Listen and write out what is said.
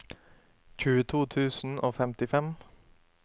tjueto tusen og femtifem